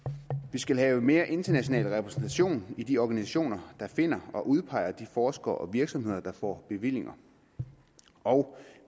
vi skal have mere international repræsentation i de organisationer der finder og udpeger de forskere og virksomheder der får bevillinger og